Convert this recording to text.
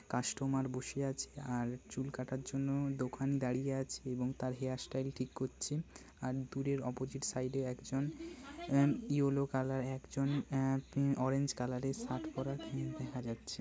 Customer বসে আছে আর চুল কাটার জন্য দোকান দাড়িয়ে আছে এবং তার হেয়ার স্টাইল ঠিক করছে আর দূরের অপোজিট সাইড এ একজন অ্যান ইয়েলো একজন অ্যা-উম অরেঞ্জ কালার এর শার্ট পরা কেউ দেখা যাচ্ছে।